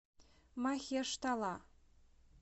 махештала